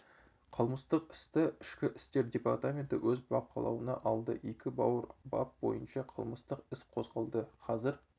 қылмыстық істі ішкі істер департаменті өз бақылауына алды екі ауыр бап бойынша қылмыстық іс қозғалды қазір